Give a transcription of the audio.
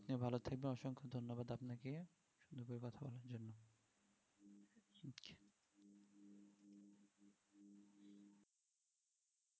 আপনি ভালো থাকবেন অসংখ্য ধন্যবাদ আপনাকে .